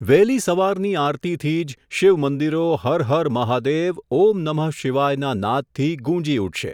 વહેલી સવારની આરતીથી જ, શિવ મંદિરો હર હર મહાદેવ, ઓમ નમઃ શિવાયના નાદથી ગુંજી ઉઠશે.